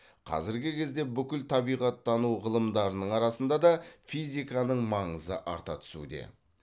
қазіргі кезде бүкіл табиғаттану ғылымдарының арасында да физиканың маңызы арта түсуде